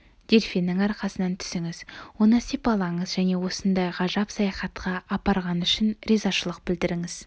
дельфиннің арқасынан түсіңіз оны сипалаңыз және осындай ғажап саяхатқа апарғаны үшін ризашылық білдіріңіз